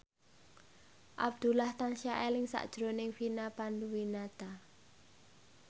Abdullah tansah eling sakjroning Vina Panduwinata